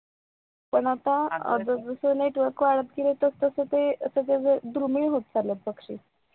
पण आता अग जस जस network वाढत गेलं तस तस ते धृमीय होत चालत ते पक्षी